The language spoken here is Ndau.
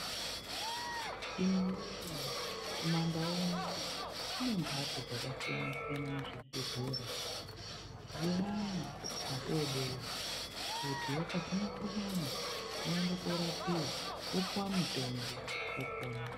Imwiwe kumandu kune mhatso dzakasiyana kuzvibhehlera dzevana vadodori kuti vakazwa mukhuhlani vaende korapiwa vopuwa mutombo vopona.